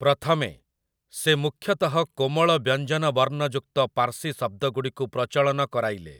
ପ୍ରଥମେ, ସେ ମୁଖ୍ୟତଃ କୋମଳ ବ୍ୟଞ୍ଜନ ବର୍ଣ୍ଣ ଯୁକ୍ତ ପାର୍ସୀ ଶବ୍ଦଗୁଡ଼ିକୁ ପ୍ରଚଳନ କରାଇଲେ ।